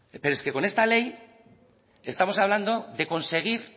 pero es que con esta ley estamos hablando de conseguir